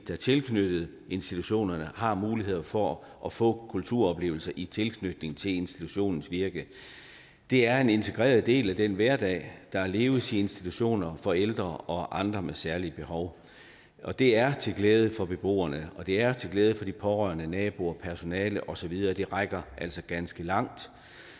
er tilknyttet institutionerne har muligheder for at få kulturoplevelser i tilknytning til institutionernes virke det er en integreret del af den hverdag der leves på institutioner for ældre og andre med særlige behov det er til glæde for beboerne og det er til glæde for de pårørende naboer personale og så videre det rækker altså ganske langt